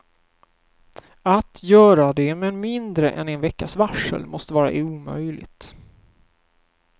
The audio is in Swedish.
Att göra det med mindre än en veckas varsel måste vara omöjligt.